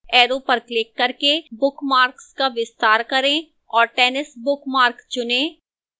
arrow पर click करके bookmarks का विस्तार करें और tennis bookmark चुनें